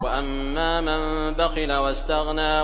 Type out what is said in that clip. وَأَمَّا مَن بَخِلَ وَاسْتَغْنَىٰ